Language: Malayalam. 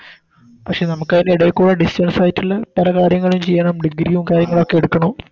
പഷെ നമുക്കത്തിൻറെ എടെക്കൂടെ Distance ആയിറ്റെല്ലാം പല കാര്യങ്ങളും ചെയ്യണം Degree യും കാര്യങ്ങളൊക്കെ എടുക്കണം